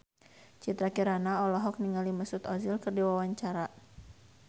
Citra Kirana olohok ningali Mesut Ozil keur diwawancara